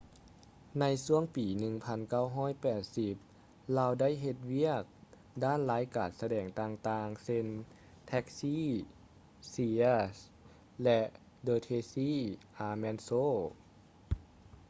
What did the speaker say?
ໃນຊ່ວງປີ 1980 ລາວໄດ້ເຮັດວຽກ ດ້ານລາຍການສະແດງຕ່າງໆ ເຊັ່ນ: ແທັກຊີ taxi ເຊຍສ໌ cheers ແລະ ເດິ ເທຼຊີ ອາລ໌ແມນ ໂຊ the tracy ullman show